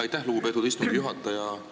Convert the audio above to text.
Aitäh, lugupeetud istungi juhataja!